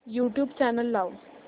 YouTube channel लाव